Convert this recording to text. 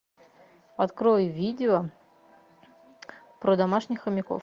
открой видео про домашних хомяков